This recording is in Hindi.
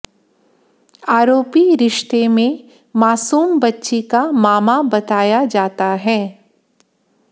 आरोपी रिश्ते में मासूम बच्ची का मामा बताया जाता है